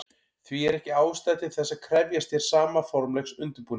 Því er ekki ástæða til þess að krefjast hér sama formlegs undirbúnings.